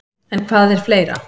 En hvað er fleira?